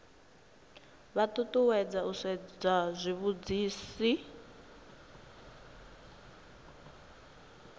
vha ṱuṱuwedzwa u sedza zwitsivhudzi